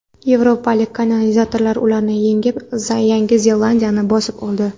Yevropalik kolonizatorlar ularni yengib, Yangi Zelandiyani bosib oldi.